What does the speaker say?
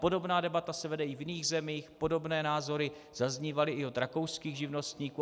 Podobná debata se vede i v jiných zemích, podobné názory zaznívaly i od rakouských živnostníků.